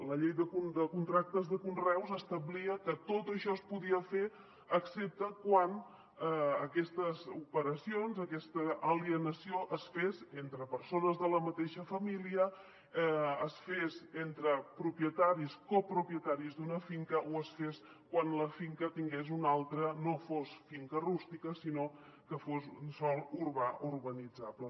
la llei de contractes de conreus establia que tot això es podia fer excepte quan aquestes operacions aquesta alienació es fes entre persones de la mateixa família es fes entre propietaris copropietaris d’una finca o es fes quan la finca no fos finca rústica sinó que fos sòl urbà urbanitzable